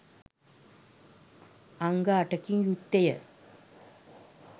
අංග අටකින් යුක්තය.